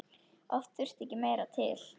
Oft þurfti ekki meira til.